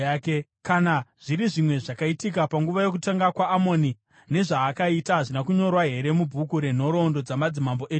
Kana zviri zvimwe zvakaitika panguva yokutonga kwaAmoni, nezvaakaita, hazvina kunyorwa here mubhuku renhoroondo dzamadzimambo eJudha?